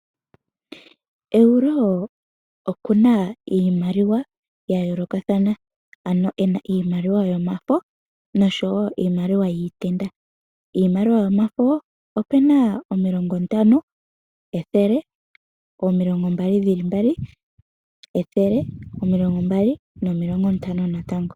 Euro okuna iimaliwa yayoolokathana ano ena iimaliwa yomafo noshowoo iimaliwa yiitenda. Iimaliwa yomafo opuna 50, 100, 20 nayilwe.